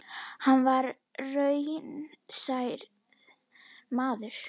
Hann var raunsær maður.